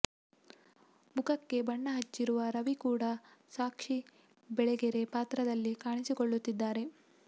ಮುಖಕ್ಕೆ ಬಣ್ಣ ಹಚ್ಚಿರುವ ರವಿ ಕೂಡ ಸಾಕ್ಷಿ ಬೆಳಗೆರೆ ಪಾತ್ರದಲ್ಲಿ ಕಾಣಿಸಿಕೊಳ್ಳುತ್ತಿದ್ದಾರೆ